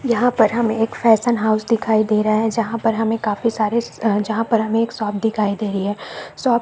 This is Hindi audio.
यहाँ पर हमें एक फैशन हाउस दिखाई दे रहा है जहां पर हमे काफी सारे जहां पर हमे एक शॉप दिखाई दे रही है शॉप --